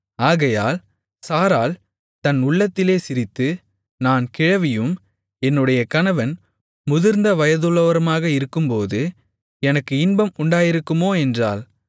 ஆகையால் சாராள் தன் உள்ளத்திலே சிரித்து நான் கிழவியும் என்னுடைய கணவன் முதிர்ந்த வயதுள்ளவருமாக இருக்கும்போது எனக்கு இன்பம் உண்டாயிருக்குமோ என்றாள்